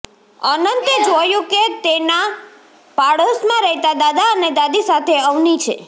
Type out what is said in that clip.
અનંતે જોયું કે તે તેના પાડોશમાં રહેતા દાદા અને દાદી સાથે અવની છે